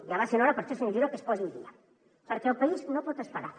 ja va sent hora per això senyor giró que es posi al dia perquè el país no pot esperar